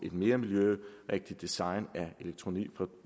et mere miljørigtigt design fra